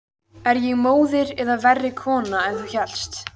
Er ég móðir eða verri kona en þú hélst?